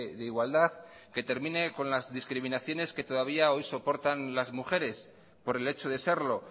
de igualdad que termine con las discriminaciones que todavía hoy soportan las mujeres por el hecho de serlo